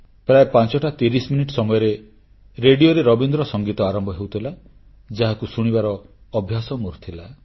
ପ୍ରାୟଃ 530 minute ସମୟରେ ରେଡ଼ିଓରେ ରବୀନ୍ଦ୍ର ସଙ୍ଗୀତ ଆରମ୍ଭ ହେଉଥିଲା ଯାହାକୁ ଶୁଣିବାର ଅଭ୍ୟାସ ମୋର ଥିଲା